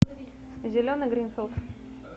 зеленый гринфилд